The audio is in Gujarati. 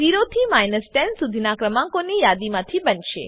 આઉટપુટ 0 થી 10 સુધીનાં ક્રમાંકોની યાદીમાંથી બનશે